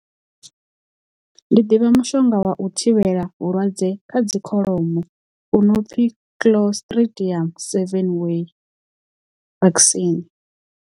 Ndi ḓivha mushonga wa u thivhela vhulwadze kha dzi kholomo u no pfhi clostridial seven way vaccine.